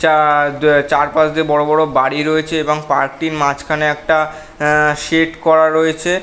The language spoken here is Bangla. চা-আ চার পাশ দিয়ে বড় বড় বাড়ি রয়েছে এবং পার্ক র্টির মাঝখানে একটা শেড করা রয়েছে।